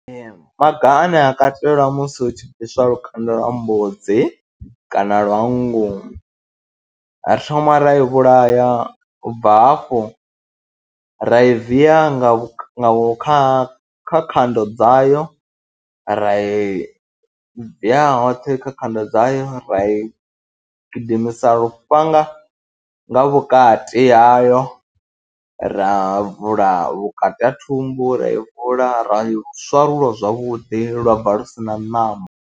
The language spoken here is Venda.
Ee, maga ane a katelwa musi hu tshi bviswa lukanda lwa mbudzi kana lwa nngu ri thoma ra yo vhulaya u bva hafho ra i viya nga kha kha khando dzayo, ra i viya hoṱhe kha khando dzayo, ra i gidimisa lufhanga nga vhukati hayo, ra vula vhukati ha thumbu, ra i vula ra i swarula zwavhuḓi lwa bva lu si na ṋama.